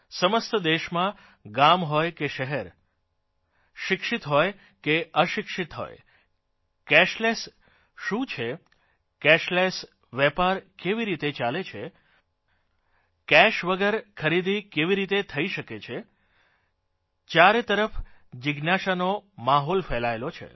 સમસ્ત દેશમાં ગામ હોય કે શહેર હોય શિક્ષિત હોય કે અશિક્ષિત હોય કેશલેસ શું છે કેશલેસ વેપાર કેવી રીતે ચાલે છે પૈસાકેશ વગર ખરીદી કેવી રીતે થઇ શકે ચારો તરફ જીજ્ઞાષાનો માહોલ ફેલાયેલો છે